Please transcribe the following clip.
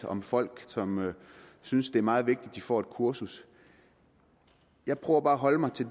om folk som synes det er meget vigtigt at de får et kursus jeg prøver bare at holde mig til